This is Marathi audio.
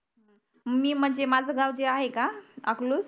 मी म्हणजे माझं गाव जे आहे का अकलूज